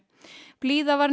blíða var